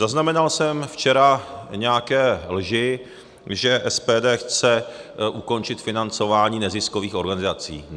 Zaznamenal jsem včera nějaké lži, že SPD chce ukončit financování neziskových organizací.